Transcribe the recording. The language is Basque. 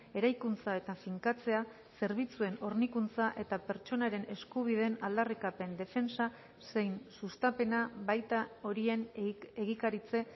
eraikuntza eta finkatzea zerbitzuen hornikuntza eta pertsonaren eskubideen aldarrikapen defentsa zein sustapena baita horien egikaritze